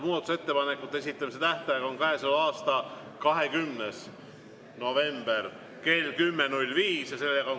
Muudatusettepanekute esitamise tähtaeg on käesoleva aasta 20. november kell 10.05.